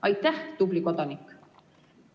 Aitäh, tubli kodanik!